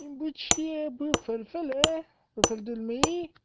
учебный центр мвд